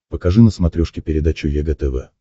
покажи на смотрешке передачу егэ тв